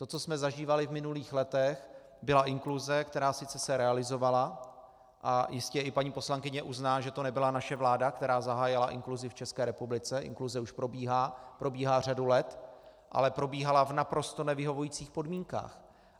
To, co jsme zažívali v minulých letech, byla inkluze, která se sice realizovala, a jistě i paní poslankyně uzná, že to nebyla naše vláda, která zahájila inkluzi v České republice, inkluze už probíhá řadu let, ale probíhala v naprosto nevyhovujících podmínkách.